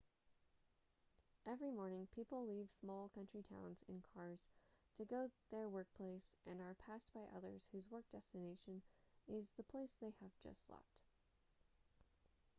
every morning people leave small country towns in cars to go their workplace and are passed by others whose work destination is the place they have just left